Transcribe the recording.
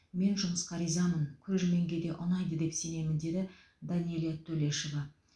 мен жұмысқа ризамын көрерменге де ұнайды деп сенемін деді данэлия төлешова